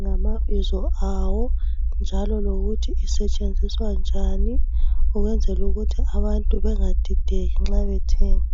ngamabizo awo, njalo lokuthi isetshenziswa njani ukuthi abantu bengadideki nxa bethenga